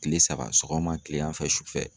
Kile saba, sɔgɔma kilegan fɛ, sufɛ